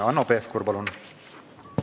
Hanno Pevkur, palun!